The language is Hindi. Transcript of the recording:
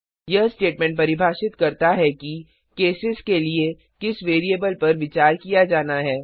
यह स्टेटमेंट परिभाषित करता है कि केसेस के लिए किस वैरिएबल पर विचार किया जाना है